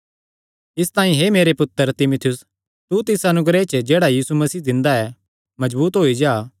इसतांई हे मेरे पुत्तर तीमुथियुस तू तिस अनुग्रह च जेह्ड़ा यीशु मसीह दिंदा ऐ मजबूत होई जा